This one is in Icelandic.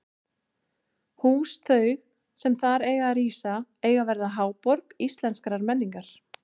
Hús þau, sem þar eiga að rísa, eiga að verða háborg íslenskrar menningar!